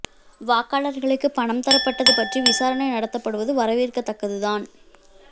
வாக்காளர்களுக்கு பணம் தரப்பட்டது பற்றி விசாரணை நடத்தப்படுவது வரவேற்கத்தக்கது தான்